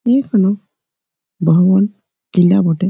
ইখানো বাহুবল টিলা বটে ।